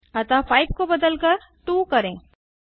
अतः 5 को बदलकर 2 करें